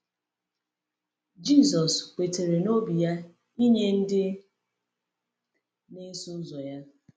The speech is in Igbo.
Jisọs kwetara n’obi ya inye ndị na-eso ya ozi.